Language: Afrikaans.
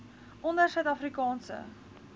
onder suid afrikaanse